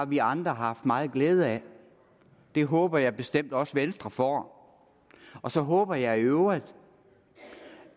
vi andre har haft meget glæde af det håber jeg bestemt også venstre får og så håber jeg i øvrigt